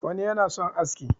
wani yana son aski